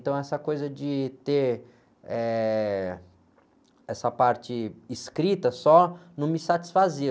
Então, essa coisa de ter, eh, essa parte escrita só não me satisfazia.